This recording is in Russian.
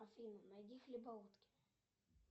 афина найди хлебоутки